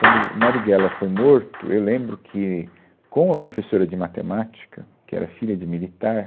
Quando o Marighella foi morto, eu lembro que, com a professora de matemática, que era filha de militar,